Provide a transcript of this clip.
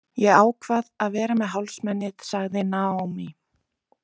Ég ákvað að vera með hálsmenið, sagði Naomi.